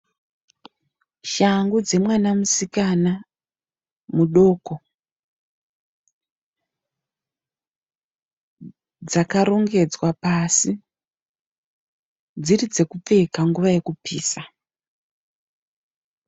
Shangu dzemwana musikana muduku dzakarongedzwa pasi. Dziri dzekupfeka nguva yekupisa.